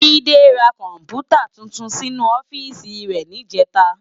Jide rá kòmpútá túntún sinú òfìsí rè nijètá